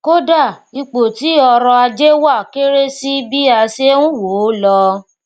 kódàà ipò tí ọrọ ajé wà kéré sí bí a ṣé n wòó lọ